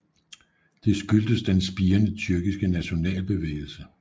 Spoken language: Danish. Det skyldtes den spirende tyrkiske nationalbevægelse